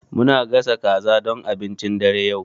Muna gasa kaza don abincin dare yau.